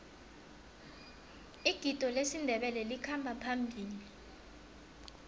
igido lesindebele likhamba phambili